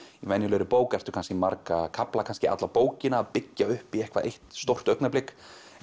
venjulegri bók ertu kannski marga kafla kannski alla bókina að byggja upp í eitthvað eitt stórt augnablik